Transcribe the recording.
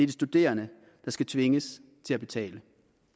de studerende der skal tvinges til at betale